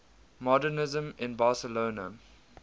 modernisme in barcelona